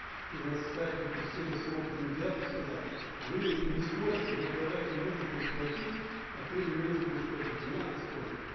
и на стадии встретился опытный медиатор и сказал вы не спорьте вот давайте муж будет платить а ты алименты будешь платить не надо спорить